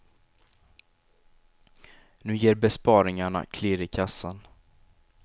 Nu ger besparingarna klirr i kassan.